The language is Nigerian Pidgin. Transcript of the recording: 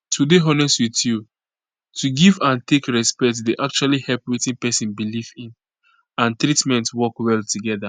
to dey honest with you to give and take respect dey actually help wetin pesin belief in and treatment work well together